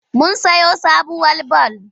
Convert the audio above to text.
Mun sayo sabuwar bal.